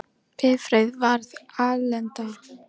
Bifreið varð alelda